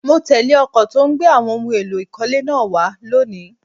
Mo tẹ́lé ọkọ̀ tó gbé àwọn ohun èlò ìkọ́lé náà wá lónìí